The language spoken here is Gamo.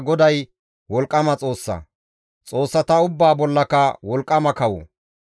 Gaasoykka GODAY wolqqama Xoossa, xoossata ubbaa bollaka wolqqama kawo.